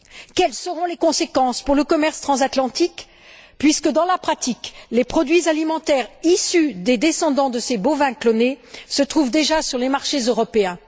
Quelles seront les conséquences pour le commerce transatlantique puisque, dans la pratique, les produits alimentaires issus des descendants de ces bovins clonés se trouvent déjà sur les marchés européens?